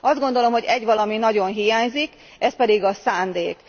Azt gondolom, hogy egy valami nagyon hiányzik ez pedig a szándék.